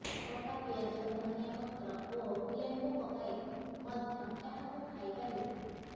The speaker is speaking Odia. କଟା ପିଆଜ ଧନିଆ ପତ୍ର ଓ ଲେମ୍ବୁ ପକାଇ ମଧ୍ୟ ଏହାକୁ ଖାଇ ପାରିବେ